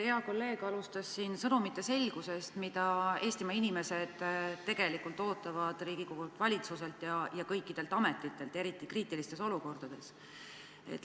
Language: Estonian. Hea kolleeg alustas siin sõnumite selgusest, mida Eestimaa inimesed tegelikult ootavad Riigikogult, valitsuselt ja kõikidelt ametitelt, eriti kriitilistes olukordades.